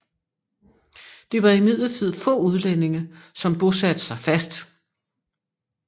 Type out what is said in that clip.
Det var imidlertid få udlændinge som bosatte sig fast